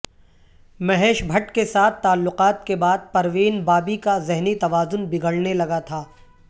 مہیش بھٹ کے ساتھ تعلقات کے بعد پروین بابی کا ذہنی توازن بگڑنے لگا تھا